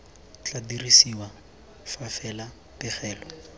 tla dirisiwa fa fela pegelo